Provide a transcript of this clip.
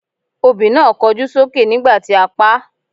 Obì náà kọjú sókè nígbà tí a paá.